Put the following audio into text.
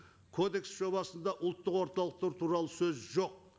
кодекс жобасында ұлттық орталықтар туралы сөз жоқ